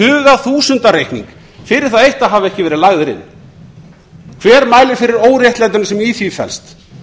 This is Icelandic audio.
þaðan út með tugþúsundareikning fyrir það eitt að hafa ekki verið lagðir inn hver mælir fyrir óréttlætinu sem í því felst